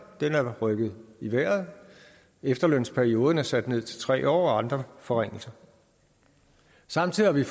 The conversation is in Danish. rykket i vejret efterlønsperioden er sat ned til tre år og andre forringelser samtidig har vi